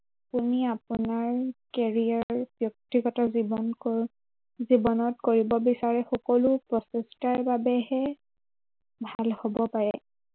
আপুনি আপোনাৰ career ব্য়ক্তিগত জীৱন জীৱনত কৰিব বিচাৰে, সকলো প্ৰচেষ্টাৰ বাবেহে ভাল হব পাৰে।